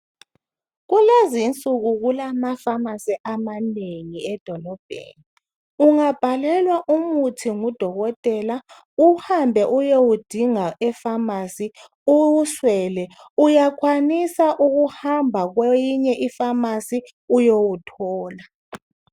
Kulezi nsuku kulama famasi amanengi edolobheni ungabhalelwa umuthi ngudokotela uhambe uyewudinga efamasi uwuswele uyakwanisa ukuhamba kweyinye ifamasi uyewuthola